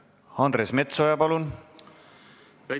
Andres Metsoja, palun!